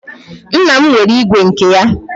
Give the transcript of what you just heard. Nna m nwere ígwè nke ya.